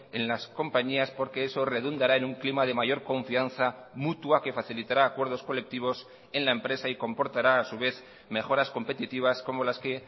en las compañías porque eso redundará en un clima de mayor confianza mutua que facilitará acuerdos colectivos en la empresa y comportará a su vez mejoras competitivas como las que